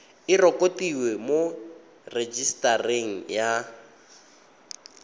e rekotiwe mo rejisetareng ya